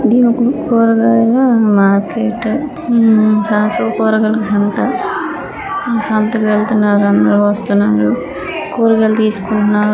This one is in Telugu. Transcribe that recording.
దేనికి కూరగాయల మార్కెట్టు ఉఉమ్మ్ కూరగాయల సంత ఈ సంతకెళ్తున్నారు. అందరూ వస్తున్నాఋ కూరగాయలు తీసుకుంటుంన్నారు.